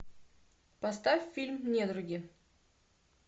поставь фильм недруги